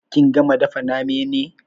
Kin gama dafa name ne?